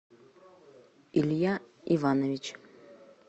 илья иванович